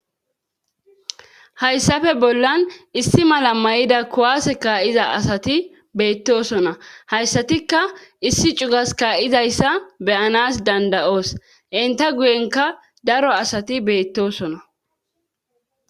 hayssafe bollan issi mala mayida kuwaase kaa7iza asati beettosona hayssatikka issi cugas kaa7izayssa be7anas danda7os enta guyenka daro asati beettosona